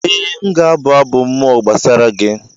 Ee, m ga-abụ abụ mmụọ gbasara gị